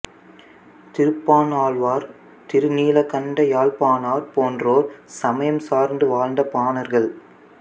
திருப்பாணாழ்வார் திருநீலகண்ட யாழ்ப்பாணர் போன்றோர் சமயம் சார்ந்து வாழ்ந்த பாணர்கள்